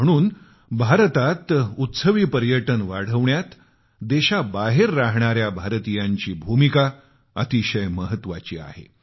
म्हणून भारतात उत्सवी पर्यटन वाढवण्यात देशाबाहेर राहणाऱ्या भारतीयांची भूमिका अतिशय महत्वाची आहे